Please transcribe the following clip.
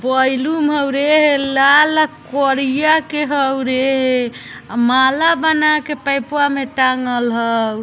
बैलुम हउ रे लाल करिया के हउ रे माला बना के पइपवा मे टाँगल हउ |